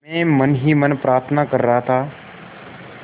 मैं मन ही मन प्रार्थना कर रहा था